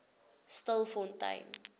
stilfontein